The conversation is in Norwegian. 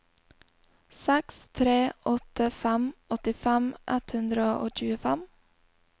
seks tre åtte fem åttifem ett hundre og tjuefem